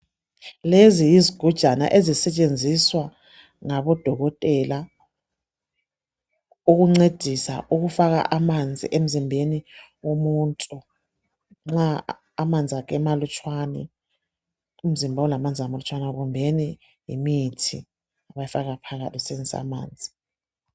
Lezi yizigujana ezisetshenziswa ngabodokotela. Ukuncedisa ukufaka amanzi emzimbeni womuntu. Nxa amanzi akhe emalutshwane. Umzimba ulamanzi amalutshwane. Kumbeni yimithi abayifaka phakathi, besebenzisa amanzi.